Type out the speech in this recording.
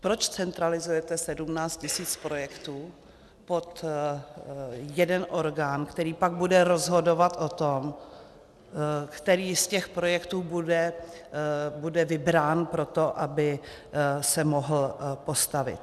Proč centralizujete 17 tisíc projektů pod jeden orgán, který pak bude rozhodovat o tom, který z těch projektů bude vybrán pro to, aby se mohl postavit?